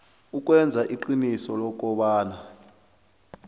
ukwenza iqiniso lokobana